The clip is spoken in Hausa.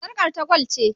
Sarƙar ta gwal ce.